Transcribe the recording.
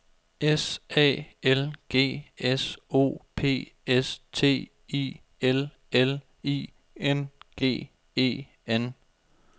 S A L G S O P S T I L L I N G E N